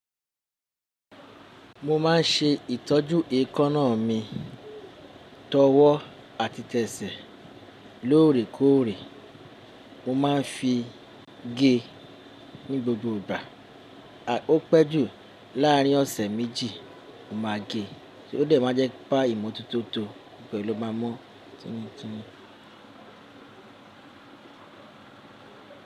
Mo ma n ṣe ìtọ́jú èékánná mi tọwọ́ àti tẹ́sẹ̀ lóòrèkóòrè, mo ma n fi gé ní gbogbo ìgbà, a ó pẹ́ jù láàrin ọ̀sẹ̀ méjì, mo máa gée, sé ó dẹ̀ máa jẹ́ pa ìmọ̀ tuntun tó pẹ̀lú máa mọ̀ títúntítún.